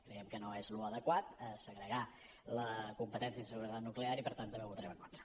creiem que no és adequat segregar la competència en seguretat nuclear i per tant també hi votarem en contra